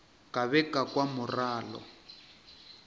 ka be ka kwa morwalo